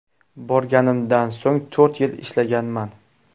Borganimdan so‘ng to‘rt yil ishlaganman.